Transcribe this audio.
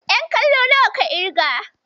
Ƴan kallo nawa ka ƙirga?